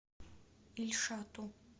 ильшату